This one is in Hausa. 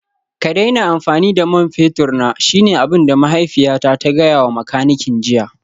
Ka daina amfani da man fetur na shine abin da mahaifiyata ta gaya wa makanikin jiya